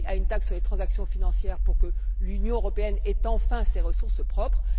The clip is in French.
Oui à une taxe sur les transactions financières pour que l'Union européenne ait enfin ses ressources propres.